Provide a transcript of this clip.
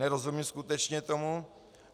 Nerozumím skutečně tomu.